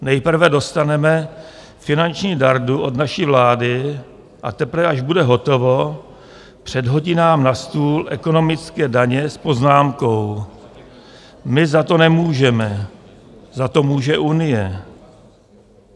Nejprve dostaneme finanční dardu od naší vlády a teprve až bude hotovo předhodí nám na stůl ekonomické daně s poznámkou: My za to nemůžeme, za to může Unie.